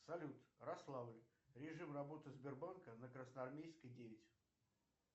салют рославль режим работы сбербанка на красноармейской девять